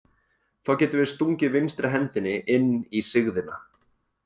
Þá getum við stungið vinstri hendinni inn í sigðina.